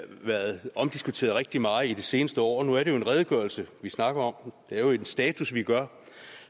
været omdiskuteret rigtig ret meget i det seneste år år nu er det jo en redegørelse vi snakker om det er jo en status vi gør